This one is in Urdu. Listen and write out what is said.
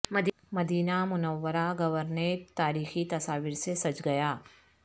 مدینہ منورہ گورنریٹ تار یخی تصاویر سے سج گیا